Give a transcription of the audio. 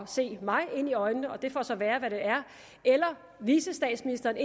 se mig ind i øjnene og det får så være hvad det er eller vicestatsministeren